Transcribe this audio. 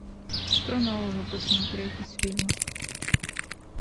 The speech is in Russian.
что нового посмотреть из фильмов